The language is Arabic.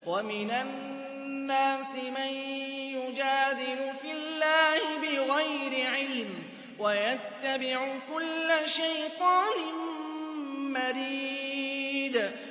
وَمِنَ النَّاسِ مَن يُجَادِلُ فِي اللَّهِ بِغَيْرِ عِلْمٍ وَيَتَّبِعُ كُلَّ شَيْطَانٍ مَّرِيدٍ